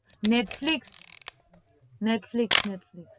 Netflix netflix netflix